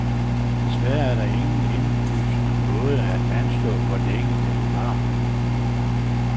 Desværre er der ingen indlysende måde til at anslå, hvor længe, det vil vare.